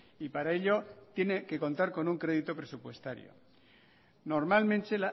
y para ello tiene que contar con un crédito presupuestario normalmente